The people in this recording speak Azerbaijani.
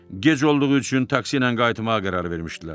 Gec olduğu üçün taksi ilə qayıtmağa qərar vermişdilər.